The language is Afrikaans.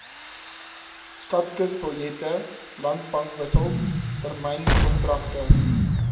skatkisbiljette landbankwissels termynkontrakte